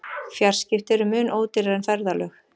Fjarskipti eru mun ódýrari en ferðalög.